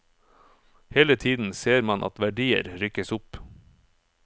Hele tiden ser man at verdier rykkes opp.